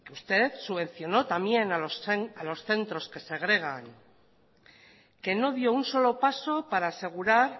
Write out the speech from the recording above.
usted subvencionó también a los centros que segregan no dio un solo paso para asegurar